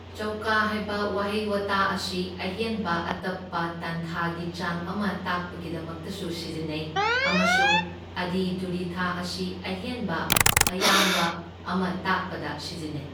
ꯆꯧꯀꯥ ꯍꯥꯏꯕ ꯋꯥꯍꯩ ꯋꯥꯇꯥ ꯑꯁꯤ ꯑꯍꯦꯟꯕ ꯑꯇꯞꯄ ꯇꯥꯟꯊꯥꯒꯤ ꯆꯥꯡ ꯑꯃ ꯇꯥꯛꯄꯒꯤꯗꯃꯛꯇꯁꯨ ꯁꯤꯖꯤꯟꯅꯩ ꯑꯃꯁꯨꯡ ꯑꯗꯤ ꯙꯨꯔꯤꯊꯥ ꯑꯁꯤ ꯑꯍꯦꯟꯕ ꯑꯌꯥꯡꯕ ꯑꯃ ꯇꯥꯛꯄꯗ ꯁꯤꯖꯤꯟꯅꯩ꯫